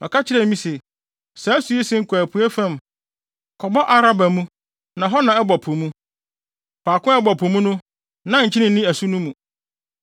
Ɔka kyerɛɛ me se, “Saa asu yi sen kɔ apuei fam kɔbɔ Araba mu na hɔ na ɛbɔ po mu. Faako a ɛbɔ po mu hɔ no na nkyene nni asu no mu.